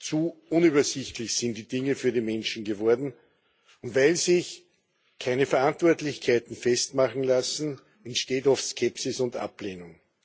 Zu unübersichtlich sind die Dinge für die Menschen geworden, und weil sich keine Verantwortlichkeiten festmachen lassen, ensteht oft Skepsis und Ablehnung.